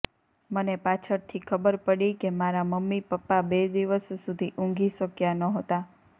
મને પાછળથી ખબર પડી કે મારા મમ્મી પપ્પા બે દિવસ સુધી ઊંઘી શક્યા નહોતા